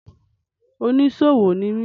Oníṣòwò ni mi.